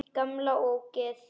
Gamla ógeð!